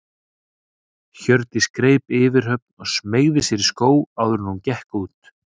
Hjördís greip yfirhöfn og smeygði sér í skó áður en hún gekk út.